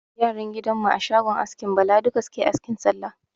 Yaran gidan mu a shogon askin Bala duka suke asking Sallah.